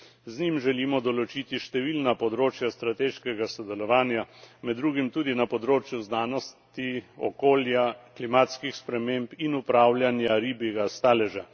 Z njim želimo določiti številna področja strateškega sodelovanja, med drugim tudi na področju znanosti, okolja, klimatskih sprememb in upravljanja ribjega staleža.